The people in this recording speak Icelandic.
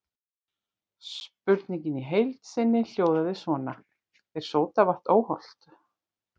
Spurningin í heild sinni hljóðaði svona: Er sódavatn óhollt?